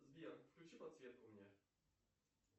сбер включи подсветку мне